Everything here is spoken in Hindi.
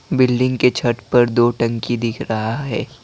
बिल्डिंग के छत पर दो टंकी दिख रहा है।